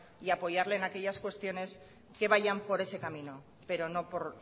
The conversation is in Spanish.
y apoyarle en aquellas cuestiones que vayan por ese camino pero no por